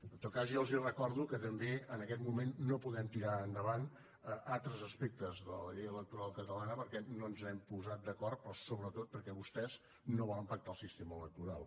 en tot cas jo els recordo que també en aquest moment no podem tirar endavant altres aspectes de la llei electoral catalana perquè no ens hem posat d’acord però sobretot perquè vostès no volen pactar el sistema electoral